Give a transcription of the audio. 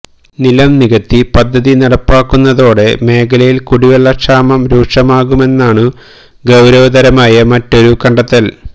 നിലം നികത്തി പദ്ധതി നടപ്പാക്കുന്നതോടെ മേഖലയിൽ കുടിവെള്ളക്ഷാമം രൂക്ഷമാകുമെന്നതാണു ഗൌരവതരമായ മറ്റൊരു കണ്ടെത്തൽ